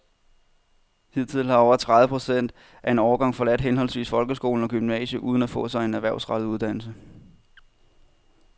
Hidtil har over tredive procent af en årgang forladt henholdsvis folkeskolen og gymnasiet uden at få sig en erhvervsrettet uddannelse.